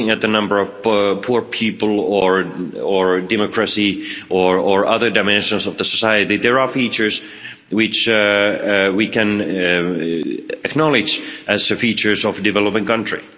When looking at the number of poor people or at democracy or other dimensions of the society, there are features which we can acknowledge as features of a developing country.